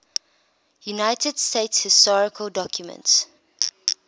united states historical documents